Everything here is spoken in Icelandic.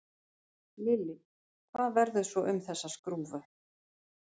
Lillý: Hvað verður svo um þessa skrúfu?